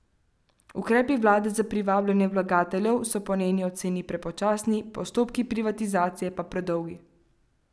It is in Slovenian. Ukrepi vlade za privabljanje vlagateljev so po njeni oceni prepočasni, postopki privatizacije pa predolgi.